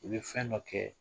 U bi fɛn nɔ kɛ